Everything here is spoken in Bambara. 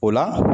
O la